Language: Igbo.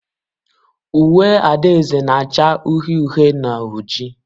Uwe adaeze na-acha uhie uhie na oji.